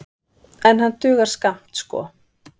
En hann dugar skammt sko.